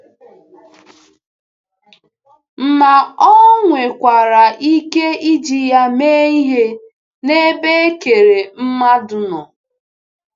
Ma Ọ nwekwara ike iji ya mee ihe n’ebe e kere mmadụ nọ.